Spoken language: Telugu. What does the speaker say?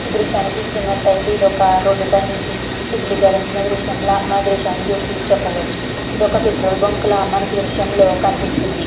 ఈ దృశ్యాన్ని చూస్తున్నట్లయితే ఇది ఒక రోడ్డు పైన చిత్రీకరించిన దృశ్యం లాగా ఈ చిత్రాన్ని చూసి చెప్పవచ్చు ఇది ఒక పెట్రోల్ బంకులాగా మనకి ఈ దృశ్యంలో కనిపిస్తుంది.